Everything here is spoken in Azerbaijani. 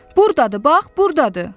Buradadır, bax, buradadır!